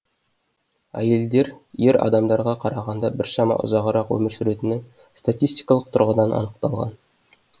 әйелдер ер адамдарға қарағанда біршама ұзағырақ өмір сүретіні статистикалық тұрғыдан анықталған